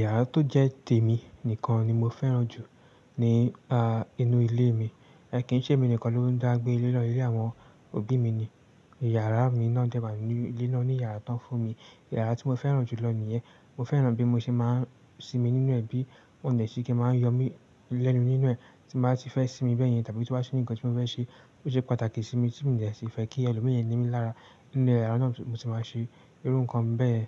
Yàrá tó jẹ́ tèmi nìkan ni mo fẹ́ràn jù ní, a, inú ilé mi. Ẹ̀, kí n ṣe èmi nìkan ló ń dàgbé lélọ̀ọ́, ilé àwọn òbí mi ni. Yàrá mi náà dẹ́wàá nínú, léna ní yàrá tán fún mi. Yàrá tí mo fẹ́ràn jù lọ nìyẹn. Mo fẹ́ràn bí mo ṣe máa ń sinmi nínú ẹ̀ bí mo nì ṣe kí a máa ń yọ mí lẹ́nu nínú ẹ̀ tí mo bá ti fẹ́ sinmi bẹ́ẹ̀ yẹn tàbí tí wá sí ń ní nǹkan tí mo fẹ́ ṣe ó ṣe pàtàkì sí mi tí mo nì ṣe fẹ́ kí ẹlòmíràn rí mi lára nínú yàrá náà ni mo ti máa ń ṣe irú nǹkan bẹ́ẹ̀.